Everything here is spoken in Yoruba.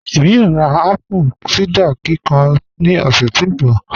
Ẹ̀mí yóò rá apple cider kíkàn ní ọ̀ṣẹ̀ tó nbọ̀